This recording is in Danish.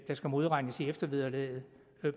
skal modregnes i eftervederlaget